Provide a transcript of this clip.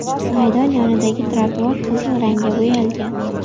Maydon yonidagi trotuar qizil rangga bo‘yalgan.